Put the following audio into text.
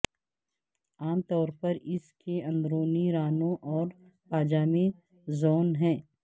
عام طور پر اس کے اندرونی رانوں اور پاجامے زون ہے